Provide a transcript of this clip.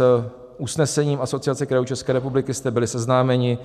S usnesením Asociace krajů České republiky jste byli seznámeni